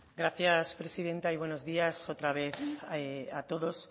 gracias presidenta y buenos días otra vez a todos